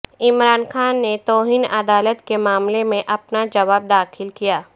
عمران خان نے توہین عدالت کے معاملے میں اپنا جواب داخل کیا